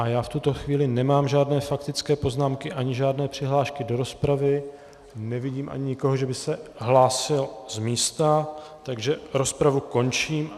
A já v tuto chvíli nemám žádné faktické poznámky ani žádné přihlášky do rozpravy, nevidím ani nikoho, že by se hlásil z místa, takže rozpravu končím.